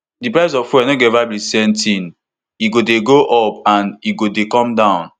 di price of fuel now no go eva be di same tin e go dey go up and e go dey come down